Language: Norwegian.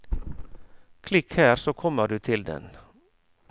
Klikk her så kommer du til den.